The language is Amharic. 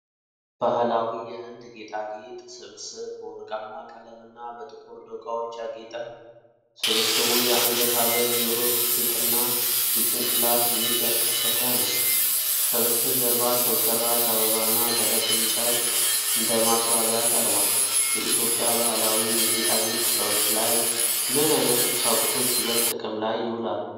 ባህላዊ የህንድ ጌጣጌጥ ስብስብ በወርቃማ ቀለምና በጥቁር ዶቃዎች ያጌጠ ነው። ስብስቡ የአንገት ሐብል፣ ጆሮ ጌጥና የጭንቅላት ጌጥያካተተ ነው። ከበስተጀርባ ሰው ሠራሽ አበባና ደረቅ እንጨት እንደ ማስዋቢያ ቀርቧል። በኢትዮጵያ ባህላዊ የጌጣጌጥ ስራዎች ላይ ምን አይነት ቁሳቁሶች ይበልጥ ጥቅም ላይ ይውላሉ?